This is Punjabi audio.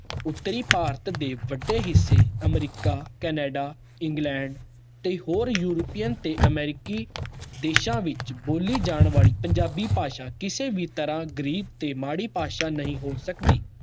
ਉੱਤਰੀ ਭਾਰਤ ਦੇ ਵੱਡੇ ਹਿੱਸੇ ਅਮਰੀਕਾ, ਕੈਨੇਡਾ, ਇੰਗਲੈਂਡ ਤੇ ਹੋਰ ਯੂਰੀਪਅਨ ਤੇ ਅਮਰੀਕੀ ਦੇਸਾਂ ਵਿੱਚ ਬੋਲੀ ਜਾਣ ਵਾਲੀ ਪੰਜਾਬੀ ਭਾਸ਼ਾ ਕਿਸੇ ਵੀ ਤਰ੍ਹਾਂ ਗ਼ਰੀਬ ਤੇ ਮਾੜੀ ਭਾਸ਼ਾ ਨਹੀਂ ਹੋ ਸਕਦੀ।